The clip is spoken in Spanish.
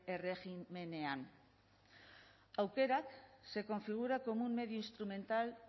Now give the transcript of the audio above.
erregimenean aukerak se configura como un medio instrumental